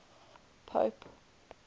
pope